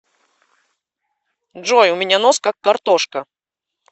джой у меня нос как картошка